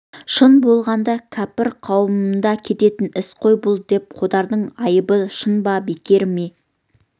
шын болғанда кәпір қауымында кететін іс қой бұл деп қодардың айыбы шын ба бекер ме